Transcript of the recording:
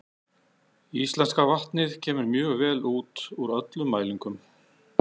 Íslenska vatnið kemur mjög vel út úr öllum mælingum.